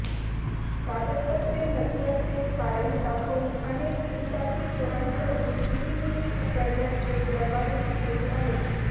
कागदपत्रे नसल्याचे कारण दाखवून अनेक दुचाकीस्वारांकडून चिरीमिरी उकळण्याचे प्रकारही सुरू आहेत